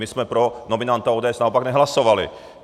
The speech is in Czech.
My jsme pro nominanta ODS naopak nehlasovali.